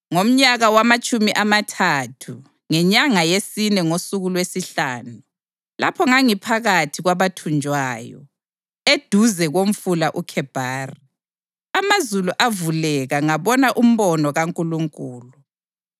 Ngomnyaka wamatshumi amathathu, ngenyanga yesine ngosuku lwesihlanu, lapho ngangiphakathi kwabathunjwayo, eduze komfula uKhebhari, amazulu avuleka ngabona umbono kaNkulunkulu.